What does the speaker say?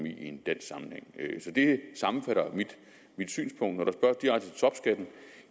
i en dansk sammenhæng så det sammenfatter mit synspunkt og den